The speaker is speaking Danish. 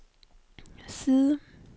side